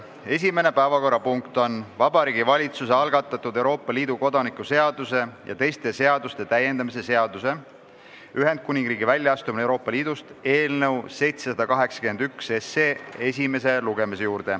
Esimene päevakorrapunkt on Vabariigi Valitsuse algatatud Euroopa Liidu kodaniku seaduse ja teiste seaduste täiendamise seaduse eelnõu 781 esimene lugemine.